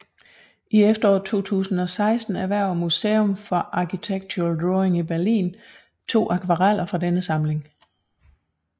I efteråret 2016 erhverver Museum for Architectural Drawing i Berlin to akvareller fra denne samling